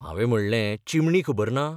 हावें म्हणलें चिमणी खबर ना?